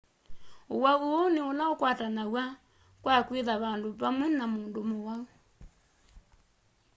uwau uu ni ula ukwatanawa kwa kwitha vandu pamwe na mundu muwau